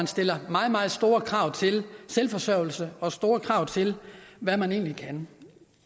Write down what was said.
stiller meget meget store krav til selvforsørgelse og store krav til hvad man egentlig kan